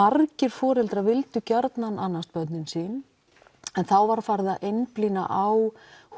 margir foreldrar vildu gjarnan annast börnin sín en þá var farið að einblína á